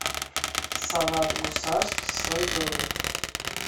салат гусарский слоеный